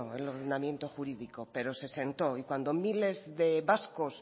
el ordenamiento jurídico pero se sentó y cuando miles de vascos